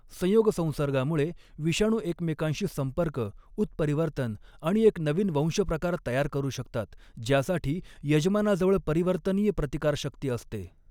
संयोगसंसर्गामुळे, विषाणू एकमेकांशी संपर्क, उत्परिवर्तन आणि एक नवीन वंशप्रकार तयार करू शकतात, ज्यासाठी यजमानाजवळ परिवर्तनीय प्रतिकारशक्ती असते.